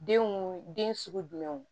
Denw den sugu jumɛnw